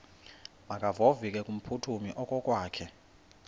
makevovike kumphuthumi okokwakhe